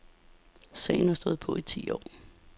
Sagen har stået på i ti år.